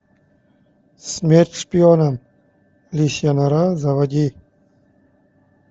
смерть шпионам лисья нора заводи